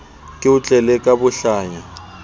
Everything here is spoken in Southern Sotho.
ke o tlele ka bohlanya